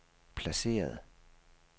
placeret